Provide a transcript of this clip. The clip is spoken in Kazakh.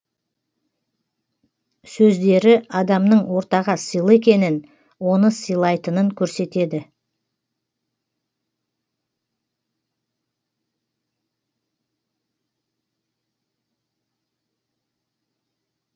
сөздері адамның ортаға сыйлы екенін оны сыйлайтынын көрсетеді